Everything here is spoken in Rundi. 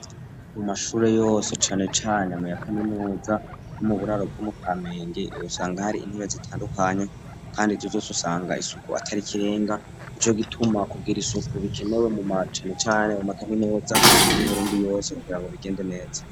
Mu mashure yose cane cane mu ya kaminuza no mu buraro bwo mukamenge usanga hari intebe zitandukanye kandi izo zose usanga isuku atari ikirenga nico gituma kugira isuku bikenewe na cane cane mu ma kaminuza y'uburundi yose kugira ngo bigende neza.